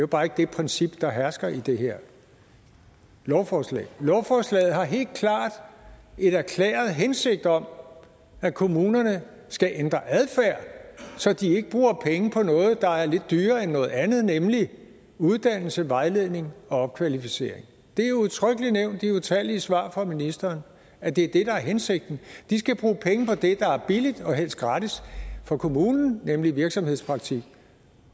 bare ikke det princip der hersker i det her lovforslag lovforslaget har helt klart en erklæret hensigt om at kommunerne skal ændre adfærd så de ikke bruger penge på noget der er lidt dyrere end noget andet nemlig uddannelse vejledning og opkvalificering det er udtrykkelig nævnt i utallige svar fra ministeren at det er det der er hensigten de skal bruge penge på det der er billigt og helst gratis for kommunen nemlig virksomhedspraktik